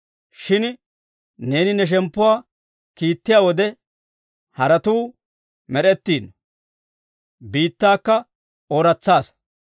Shin neeni ne shemppuwaa kiittiyaa wode, haratuu med'ettiino; biittaakka ooratsaasa.